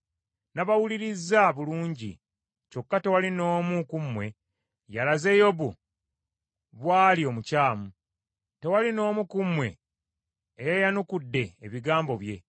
Nabawulirizza bulungi. Kyokka tewali n’omu ku mmwe yalaze Yobu bw’ali omukyamu; tewali n’omu ku mmwe eyayanukudde ebigambo bye.